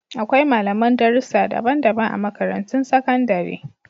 Akwai malaman darussa daban-daban a Makarantun Sakandare